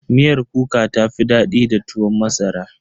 Miyar kuka ta fi daɗi da tuwon masara.